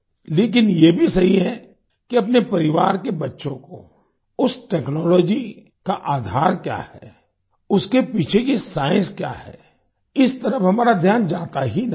लेकिन ये भी सही है कि अपने परिवार के बच्चों को उस टेक्नोलॉजी का आधार क्या है उसके पीछे की साइंस क्या है इस तरफ हमारा ध्यान जाता ही नहीं है